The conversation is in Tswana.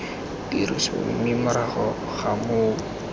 tirisong mme morago ga moo